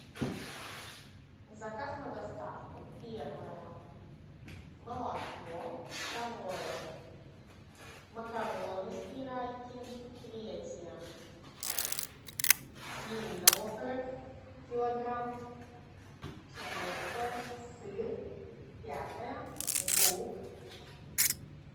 заказ на доставку первое молоко второе макароны спиральки третье свинина окорок килограмм четвертое сыр пятое лук